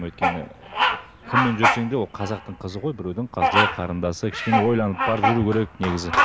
өйткені кіммен жүрсең де ол қазақтың қызы ғой біреудің қызы қарындасы кішкене ойланып барып жүру керек негізі